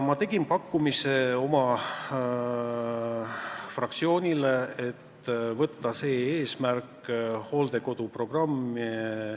Ma tegin oma fraktsioonile pakkumise võtta hooldekodude programm kavva.